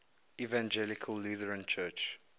evangelical lutheran church